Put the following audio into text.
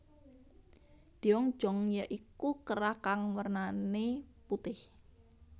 Deong Jong ya iku kerah kang wernane putih